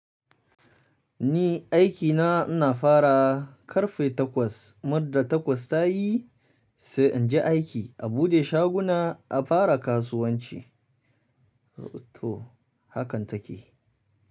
Ni aikina ina fara ƙarfe takwas, muddin takwas ta yi sai in je aiki a buɗe shaguna a fara kasuwanci. To, hakan take.